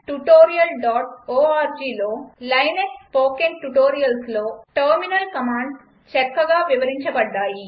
httpspoken tutorialorgలో Linux spoken ట్యుటోరియల్స్లో terminal commands చక్కగా వివరించబడ్డాయి